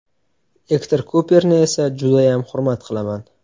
Ektor Kuperni esa judayam hurmat qilaman.